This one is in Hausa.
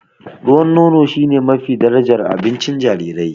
Ruwan nono shine mafi darajar abincin jarirai.